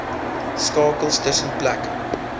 skakels tussen plekke